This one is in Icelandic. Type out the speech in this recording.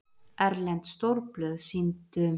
Erlend stórblöð sýndu